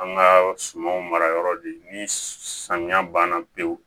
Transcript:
An ka sumanw mara yɔrɔ de ni samiya banna pewu